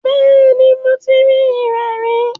Bẹ́ẹ̀ni, mo ti rí irẹ̀ rí.